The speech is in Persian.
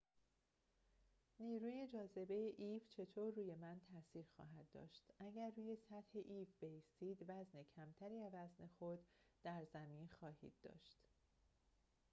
نیروی جاذبه ایو چطور روی من تاثیر خواهد داشت اگر روی سطح ایو بایستید وزن کمتری از وزن خود در زمین خواهید داشت